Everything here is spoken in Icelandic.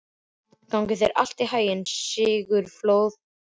Gangi þér allt í haginn, Sigurfljóð.